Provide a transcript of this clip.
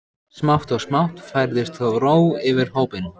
Smátt og smátt færðist þó ró yfir hópinn.